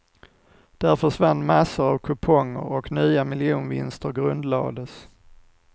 Där försvann massor av kuponger och nya miljonvinster grundlades.